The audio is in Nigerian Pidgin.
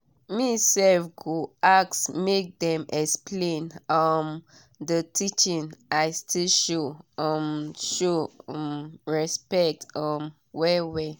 me self go ask make dem explain um the teaching i still show um show um respect um well well